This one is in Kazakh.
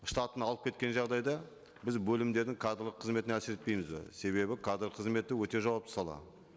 штатын алып кеткен жағдайда біз бөлімдердің кадрлық қызметіне әсер етпейміз бе себебі кадр қызметі өте жауапты сала